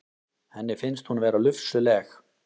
Henni finnst hún vera lufsuleg.